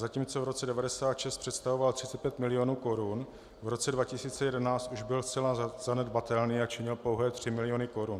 Zatímco v roce 1996 představoval 35 milionů korun, v roce 2011 už byl zcela zanedbatelný a činil pouhé 3 miliony korun.